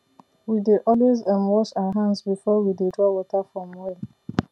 we dey always um wash our hands before we dey draw water from well